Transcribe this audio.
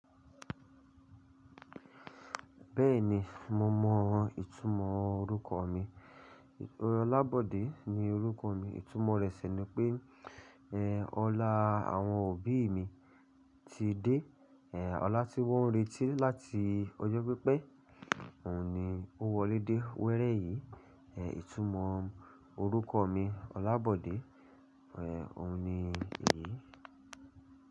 Bẹ́ẹ̀ni mo mọ ìtumọ̀ orúkọ mi. Ọlábọ̀dé ní orúkọ mi. Ìtumọ̀ rẹ̀ sì ni pé, ẹ, ọlá àwọn òbí mi ti dé. Ẹ, ọlá tí wọ́n retí láti ọjọ́ pípẹ́, òun ni ó wọlé dé wéré yìí. Ẹ, ìtumọ̀ orúkọ mi Ọlábọ̀dé, ẹ, òun ni èyí.